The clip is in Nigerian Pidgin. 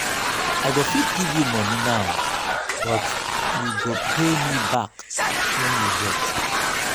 i go fit give you money now but you go pay me back wen you get